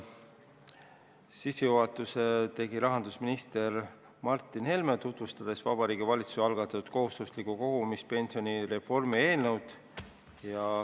Sissejuhatuse tegi rahandusminister Martin Helme, tutvustades Vabariigi Valitsuse algatatud kohustusliku kogumispensioni reformi eelnõu.